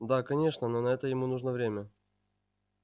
да конечно но на это ему нужно время